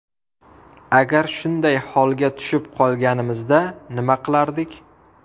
Agar shunday holga tushib qolganimizda nima qilardik?